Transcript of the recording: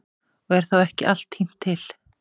Og er þá ekki allt tínt til.